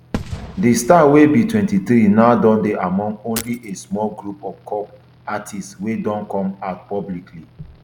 di star wey be twenty-three now dey among only a small group of kpop artists wey don come out publicly